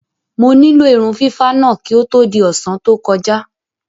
Mo nílò irun fífá náà kí ó tó di ọ̀sán tó kọjá.